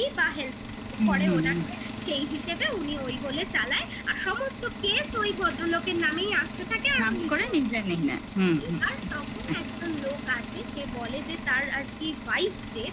বা help পরে হুম হুম ওনার সেই হিসেবে উনি ওই বলে চালায় আর সমস্ত case ওই ভদ্রলোকের নামেই আসতে থাকে নাম করে হুম আর তখন একজন লোক আসে সে বলে যে তার আর কি wife যে